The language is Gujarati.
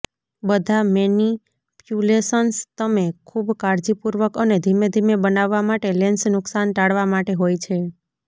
બધા મેનિપ્યુલેશન્સ તમે ખૂબ કાળજીપૂર્વક અને ધીમેધીમે બનાવવા માટે લેન્સ નુકસાન ટાળવા માટે હોય છે